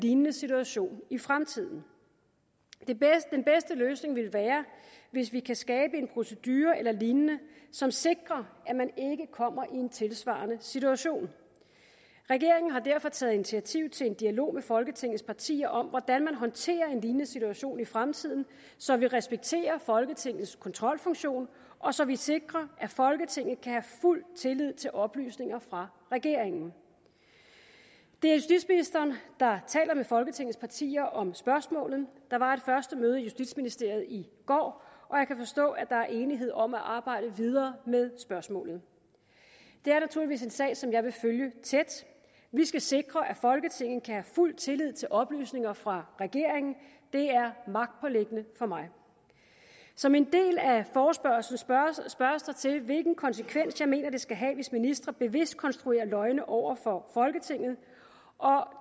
lignende situation i fremtiden den bedste løsning ville være hvis vi kan skabe en procedure eller lignende som sikrer at man ikke kommer i en tilsvarende situation regeringen har derfor taget initiativ til en dialog med folketingets partier om hvordan man håndterer en lignende situation i fremtiden så vi respekterer folketingets kontrolfunktion og så vi sikrer at folketinget kan have fuld tillid til oplysninger fra regeringen det er justitsministeren der taler med folketingets partier om spørgsmålet der var et første møde i justitsministeriet i går og jeg kan forstå at der er enighed om at arbejde videre med spørgsmålet det er naturligvis en sag som jeg vil følge tæt vi skal sikre at folketinget kan have fuld tillid til oplysninger fra regeringen det er magtpåliggende for mig som en del af forespørgslen spørges der til hvilken konsekvens jeg mener det skal have hvis ministre bevidst konstruerer løgne over for folketinget